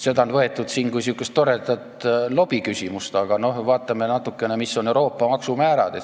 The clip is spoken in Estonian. Seda on võetud siin kui toredat lobiküsimust, aga vaatame natuke, mis on Euroopa maksumäärad.